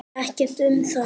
Ekkert um það.